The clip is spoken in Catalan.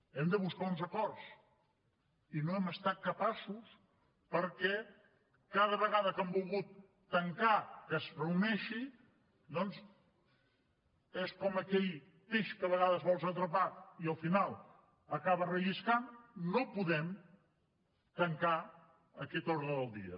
hem de buscar uns acords i no n’hem estat capaços perquè cada vegada que han volgut tancar que es reuneixi doncs és com aquell peix que a vegades vols atrapar i al final acaba relliscant no podem tancar aquest ordre del dia